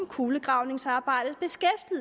kulegravningsarbejdet